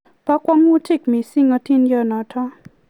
po kwangutik mising hatindiyot notok